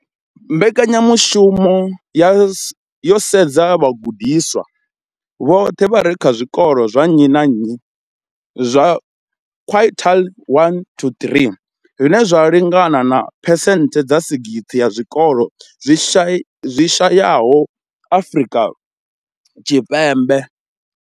Mbekanyamushumo yo sedza vhagudiswa vhoṱhe vha re kha zwikolo zwa nnyi na nnyi zwa quintile 1 to 3, zwine zwa lingana na phesenthe dza 60 ya zwikolo zwi shayesaho Afrika Tshipembe.